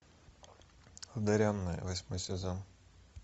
одаренная восьмой сезон